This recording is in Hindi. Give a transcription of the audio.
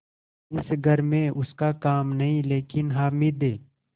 इस घर में उसका काम नहीं लेकिन हामिद